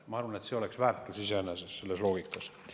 Ma arvan, et see oleks väärtus iseenesest selles loogikas.